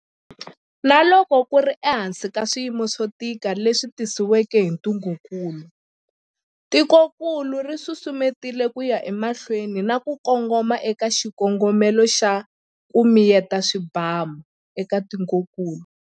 Na loko ku ri ehansi ka swiyimo swo tika leswi tisiweke hi ntungukulu, tikokulu ri susumetile ku ya emahlweni na ku kongoma eka xikongomelo xa 'ku miyeta swibamu' eka tikokulu.